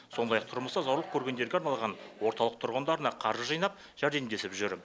сондай ақ тұрмыста зорлық көргендерге арналған орталық тұрғындарына қаржы жинап жәрдемдесіп жүр